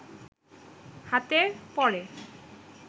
হাতে পড়ে